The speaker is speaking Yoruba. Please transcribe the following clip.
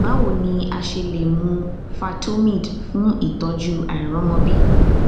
bawo ni a ṣe le mu fertomid fun itọju àìriọmọbi